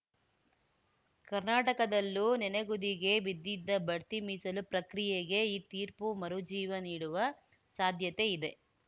ಕರ್ನಾಟಕದಲ್ಲೂ ನನೆಗುದಿಗೆ ಬಿದ್ದಿದ್ದ ಬಡ್ತಿ ಮೀಸಲು ಪ್ರಕ್ರಿಯೆಗೆ ಈ ತೀರ್ಪು ಮರುಜೀವ ನೀಡುವ ಸಾಧ್ಯತೆ ಇದೆ